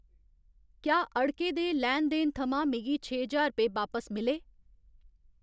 क्या अड़के दे लैन देन थमां मिगी छे ज्हार रपेऽ बापस मिले?